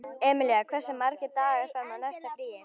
Emilía, hversu margir dagar fram að næsta fríi?